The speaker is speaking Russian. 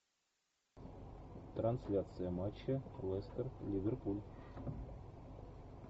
трансляция матча лестер ливерпуль